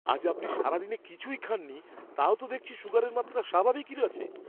আজ আপনি সারাদিনে কিছুই খাননি তাও তো দেখছি সুগারের মাত্রা স্বাভাবিকই আছে!